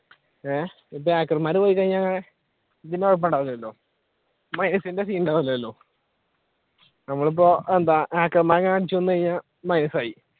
ആഹ് ഇപ്പൊ hacker മാർ പോയി കഴിഞ്ഞ minus ന്റെ scene ഉണ്ടാവൂല്ലല്ലോ നമ്മൾ ഇപ്പൊ എന്താ hacker മാരെ അടിച്ചു കൊന്നു കഴിഞ്ഞ minus ആയി